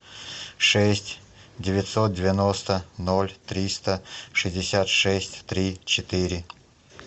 шесть девятьсот девяносто ноль триста шестьдесят шесть три четыре